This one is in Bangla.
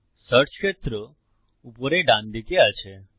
সার্চ ক্ষেত্র উপরে ডানদিকে আছে